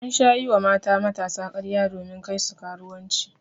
An sha yi wa mata matasa karya domin Kai su karuwanci.